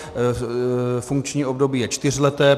Funkční období je čtyřleté.